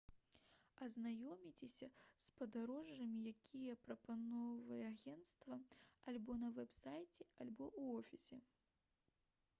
азнаёмцеся з падарожжамі якія прапаноўвае агент альбо на вэб-сайце альбо ў офісе